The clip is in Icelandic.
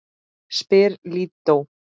spyr Lídó.